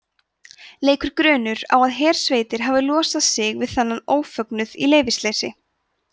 leikur grunur á að hersveitir hafi losað sig við þennan ófögnuð í leyfisleysi